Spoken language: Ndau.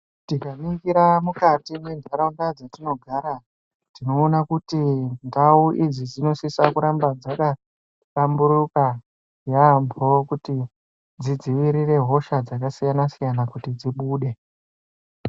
Tikaningira mukati mwendaraunda dzetinogara tonoona kuti ndau idzi dzinosisa dzakahlamburuka yambo kuti dzivirire hosha dzakasiyana siyana kuti dzibude